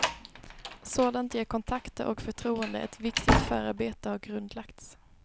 Sådant ger kontakter och förtroende, ett viktigt förarbete har grundlagts.